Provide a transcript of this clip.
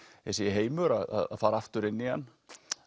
heimur að fara aftur inn í hann